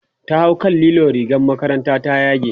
ta hau kan lilo rigar makarantar ta ta yage